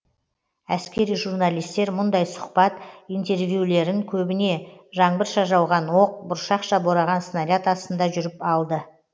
әскери журналистер мүндай сұхбат интервьюлерін көбіне жаңбырша жауған оқ бұршақша бораған снаряд астында жүріп алды